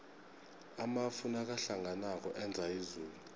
amafu nakahlanganako enza izulu